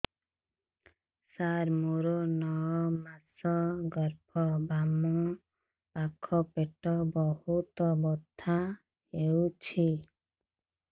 ସାର ମୋର ନଅ ମାସ ଗର୍ଭ ବାମପାଖ ପେଟ ବହୁତ ବଥା ହଉଚି